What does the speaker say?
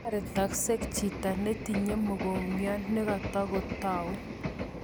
Taretaksei chito netinye mokongiat nekatukatau